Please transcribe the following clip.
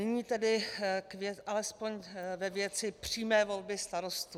Nyní tedy alespoň ve věci přímé volby starostů.